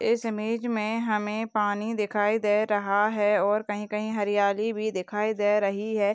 इस इमेज में हमें पानी दिखाई दे रहा है और कहीं-कहीं हरियाली भी दिखाई दे रही है।